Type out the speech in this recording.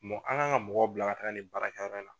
Mɔ an kan ka mɔgɔw bila ka taa nin baara kɛ yɔrɔ la.